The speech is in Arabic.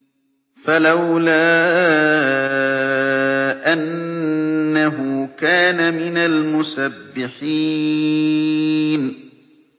فَلَوْلَا أَنَّهُ كَانَ مِنَ الْمُسَبِّحِينَ